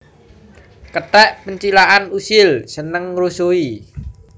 Kethèk pencilakan usil seneng ngrusuhi